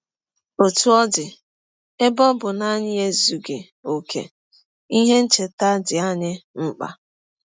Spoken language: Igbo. Ọtụ ọ dị, ebe ọ bụ na anyị ezughị ọkè, ihe ncheta dị anyị mkpa.